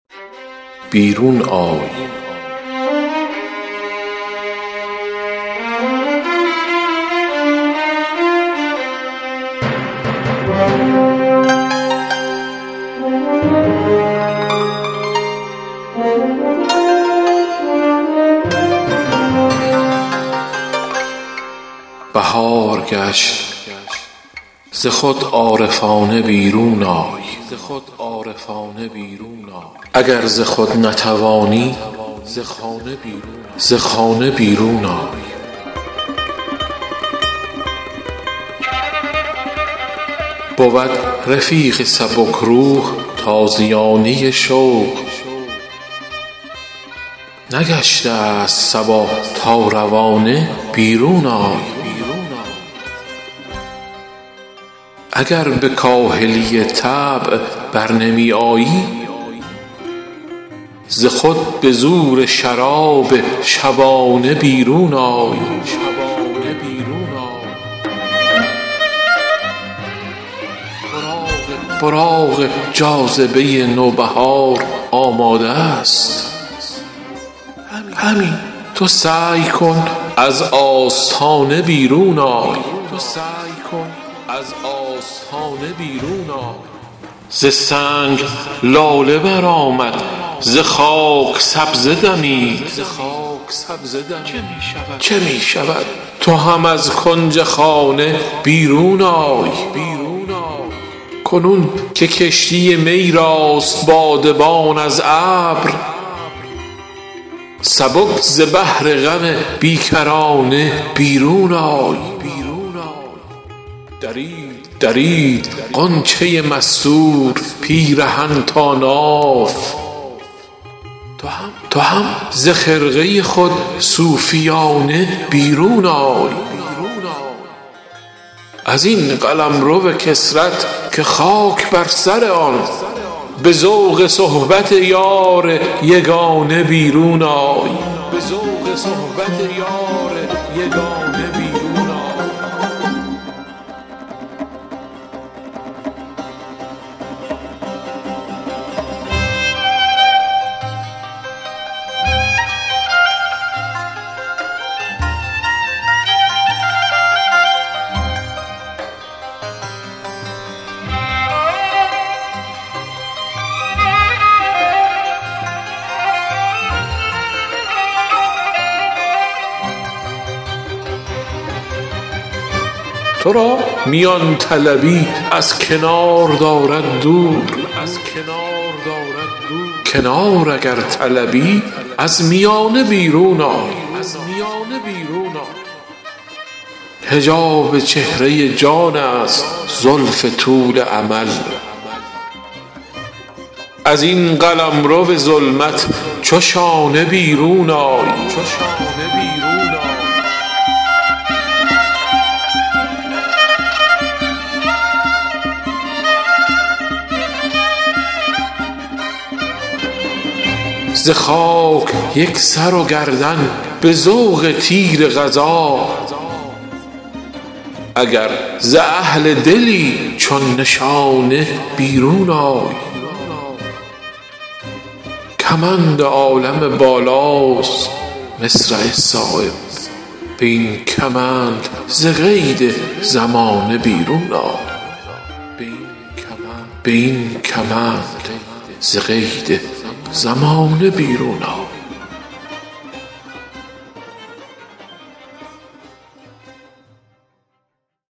بهار گشت ز خود عارفانه بیرون آی اگر ز خود نتوانی ز خانه بیرون آی بود رفیق سبکروح تازیانه شوق نگشته است صبا تا روانه بیرون آی اگر به کاهلی طبع برنمی آیی ز خود به زور شراب شبانه بیرون آی براق جاذبه نوبهار آماده است همین تو سعی کن از آستانه بیرون آی اسیر پرده ناموس چند خواهی بود ازین لباس زنان عارفانه بیرون آی ز سنگ لاله برآمد ز خاک سبزه دمید چه می شود تو هم از کنج خانه بیرون آی صفیر مرغ سحر تازیانه شوق است ز بند خویش به این تازیانه بیرون آی کنون که کشتی می راست بادبان از ابر سبک ز بحر غم بیکرانه بیرون آی چو صبح فیض بهار شکوفه یک دو دم است چه فکر می کنی از آشیانه بیرون آی هوا ز ناله مرغان شده است پرده ساز چه حاجت است به چنگ و چغانه بیرون آی درید غنچه مستور پیرهن تا ناف تو هم ز خرقه خود صوفیانه بیرون آی چه همچو صورت دیوار محو خانه شدی قدم به راه نه از فکر خانه بیرون آی ازین قلمرو کثرت که خاک بر سر آن به ذوق صحبت یار یگانه بیرون آی ترا میان طلبی از کنار دارد دور کنار اگرطلبی از میانه بیرون آی حجاب چهره جان است زلف طول امل ازین قلمرو ظلمت چو شانه بیرون آی ز خاک یک سر و گردن به ذوق تیر قضا اگر ز اهل دلی چون نشانه بیرون آی کمند عالم بالاست مصرع صایب به این کمند ز قید زمانه بیرون آی